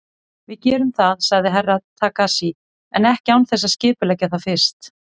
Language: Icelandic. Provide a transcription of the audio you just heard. Við gerum það, sagði Herra Takashi, en ekki án þess að skipuleggja það fyrst.